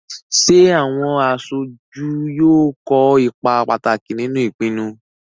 Ṣé àwọn aṣojú yóò kó ipa pàtàkì nínú ìpinnu?